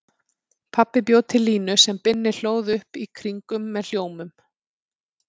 Pabbi bjó til línu sem Binni hlóð upp í kringum með hljómum.